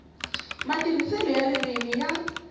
matirhiselo ya ririmi i ya